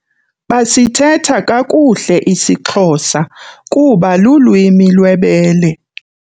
Basithetha kakuhle isiXhosa kuba lulwimi lwebele.